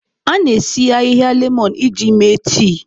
A na-esi ahịhịa lemọn iji mee tii.